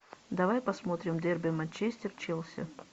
давай посмотрим дерби манчестер челси